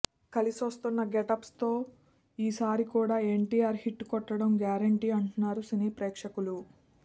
కలిసొస్తున్న getups తో ఈ సరి కూడా ఎన్టీఆర్ హిట్ కొట్టడం గ్యారెంటీ అంటున్నారు సినీ ప్రేక్షకులు